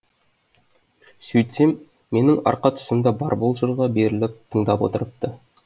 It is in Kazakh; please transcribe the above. сөйтсем менің арқа тұсымда барбол жырға беріліп тыңдап отырыпты